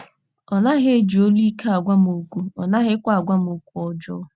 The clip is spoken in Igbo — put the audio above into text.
Ọ naghị eji olu ike agwa m okwu, ọ naghịkwa agwa m okwu ọjọọ.